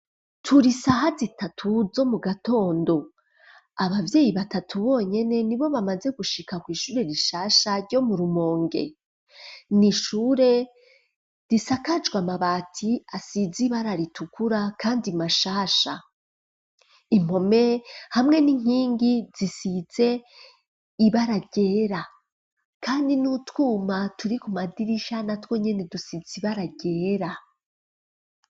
Turi saha zitatu zo mu gatondo, abavyeyi batatu bonyene ni bo bamaze gushika kw'ishure rishasha ryo mu Rumonge, n'ishure risakajwe amabati asize ibara ritukura kandi mashasha impome hamwe n'inkingi zisize ibara ryera kandi n'utwuma turi ku madirisha natwo nyene dusize ibara ryera.